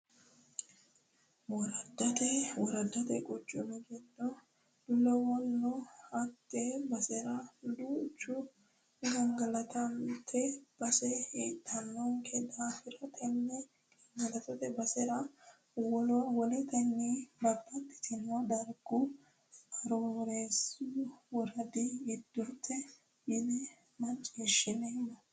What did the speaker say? Woraddate quchuma giddo lawano hatte basera duucha gangalattote base heedhanokki daafo tini gangalattote base woletenni baxxittano dargu Arooreessu woradi giddoti yinanna macciishshinoommo.